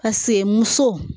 A semuso